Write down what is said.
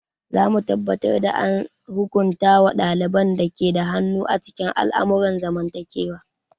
Za mu tabbatar da an hukunta wa ɗaliban da ke da hannu a cikin al'amuran zamantakewa.